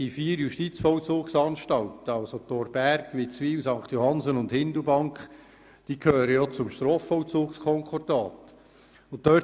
Die vier Justizvollzugsanstalten Thorberg, Witzwil, St. Johannsen und Hindelbank gehören zum Strafvollzugskonkordat.